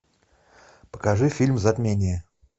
покажи фильм затмение